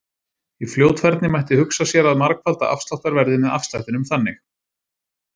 Í fljótfærni mætti hugsa sér að margfalda afsláttarverðið með afslættinum þannig: